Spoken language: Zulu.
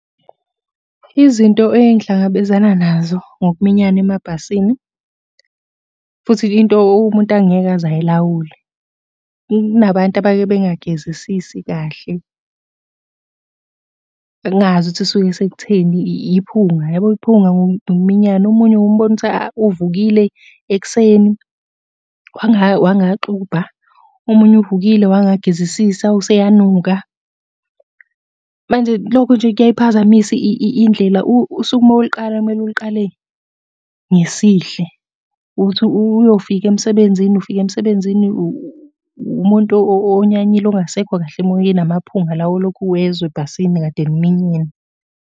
Izinto engihlangabezana nazo ngokuminyana emabhasini, futhi into umuntu angeke aze ayilawule. Kunabantu abake bengagezisisi kahle. Engingazi ukuthi kusuke sekutheni iphunga. Yabo iphunga ngokuminyana, omunye uke umbone ukuthi uvukile ekuseni, wangaxubha, omunye uvukile wangagezisisa useyanuka. Manje lokho nje kuyayiphazamisa indlela usuku uma uluqala kumele uluqale ngesihle. Uthi uyofika emsebenzini, ufika emsebenzini umuntu onyanyile ongasekho kahle emoyeni amaphunga lawa olokhu uwezwa ebhasini kade niminyene.